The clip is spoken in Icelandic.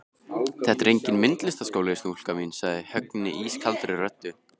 Þetta er enginn myndlistarskóli, stúlka mín sagði Högni ískaldri röddu.